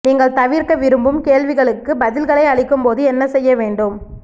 நீங்கள் தவிர்க்க விரும்பும் கேள்விகளுக்கு பதில்களை அளிக்கும்போது என்ன செய்ய வேண்டும்